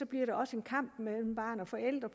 bliver en kamp mellem barn og forældre